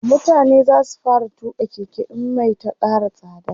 mutane zasu fara tuƙa Keke in Mai Ta Kara tsada